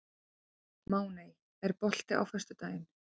Máney, er bolti á föstudaginn?